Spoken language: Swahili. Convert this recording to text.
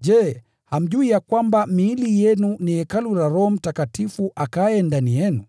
Je, hamjui ya kwamba miili yenu ni hekalu la Roho Mtakatifu akaaye ndani yenu,